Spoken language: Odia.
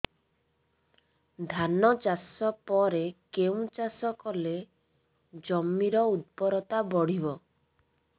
ଧାନ ଚାଷ ପରେ କେଉଁ ଚାଷ କଲେ ଜମିର ଉର୍ବରତା ବଢିବ